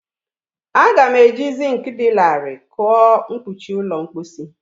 Aga m eji zink dị larịị kụọ mkpuchi ụlọ mposi.